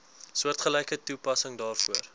soortgelyke toepassing daarvoor